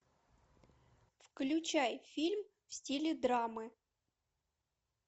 включай фильм в стиле драмы